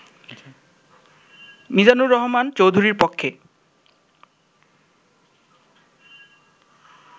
মিজানুর রহমান চৌধুরীর পক্ষে